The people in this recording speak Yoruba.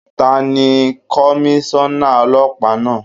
Tani Komíṣọ́nà Ọlọ́pàá náà?